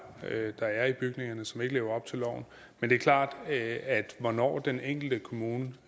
der er i bygningerne som ikke lever op til loven men det er klart at hvornår den enkelte kommune